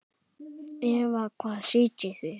Eva: Hvar sitjið þið?